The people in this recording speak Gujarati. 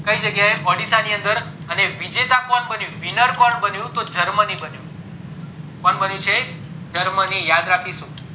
કય જગાએ ઓડીસા ની અંદર અને વિજેતા કોણ બન્યું winner કોણ બન્યું તો germany બન્યું કોણ બન્યું છે germany યાદ રાખીશું